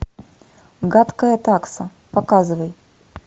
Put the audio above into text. гадкая такса показывай